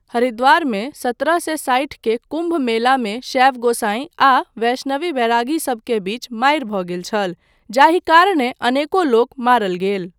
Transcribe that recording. हरिद्वारमे सत्रह सए साठि के कुम्भ मेलामे शैव गोसाईं आ वैष्णवी बैरागीसभ के बीच मारि भऽ गेल छल, जाहि कारणेँ अनेको लोक मारल गेल।